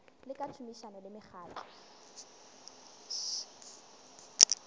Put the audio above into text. le ka tšhomišano le mekgatlo